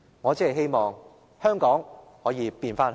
我只是希望香港可以變回香港。